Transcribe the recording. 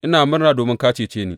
Ina murna domin ka cece ni!